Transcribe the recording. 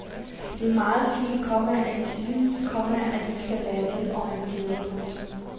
Det er meget fint, komma at I synes, komma vi skal være velorienterede. punktum